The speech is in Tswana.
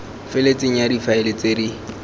feletseng ya difaele tse di